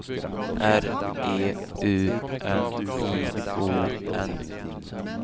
R E U N I O N